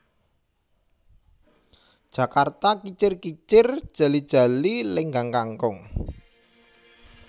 Jakarta Kicir kicir Jali jali Lenggang Kangkung